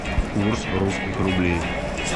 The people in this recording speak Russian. курс русских рублей